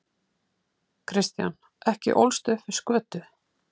Kristján: Ekki ólstu upp við skötu?